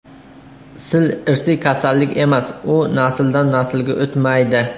Sil irsiy kasallik emas, u nasldan naslga o‘tmaydi.